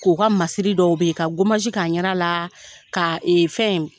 K'o ka masiri dɔw be yen, ka gamagi k'a ɲɛda la ka ee fɛn